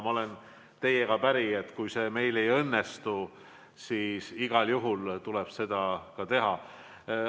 Ma olen teiega päri, et kui see meil ei õnnestu, siis igal juhul tuleb.